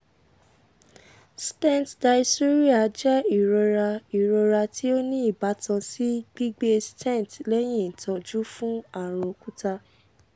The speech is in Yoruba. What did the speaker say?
stent dysuria jẹ irora irora ti o ni ibatan si gbigbe stent lẹhin itọju fun arun okuta